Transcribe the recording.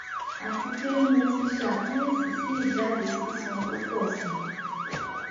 atipe mo ti se akiyesi si ijade sisan to po si